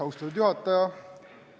Austatud juhataja!